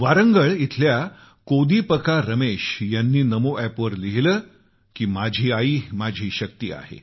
वारंगळ इथल्या कोडीपका रमेश यांनी नमो अॅपवर लिहिलं की माझी आई माझी शक्ती आहे